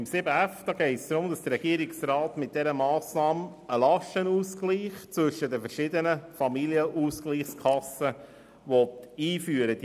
Beim Themenblock 7.f geht es darum, dass der Regierungsrat einen Lastenausgleich zwischen den verschiedenen Familienausgleichskassen einführen will.